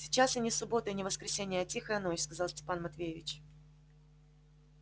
сейчас и не суббота и не воскресенье а тихая ночь сказал степан матвеевич